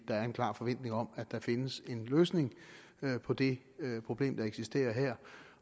er en klar forventning om at der findes en tilfredsstillende løsning på det problem der eksisterer her